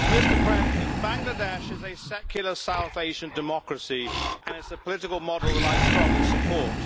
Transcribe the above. Mr President, Bangladesh is a secular South Asian democracy and it is a political model that I strongly support.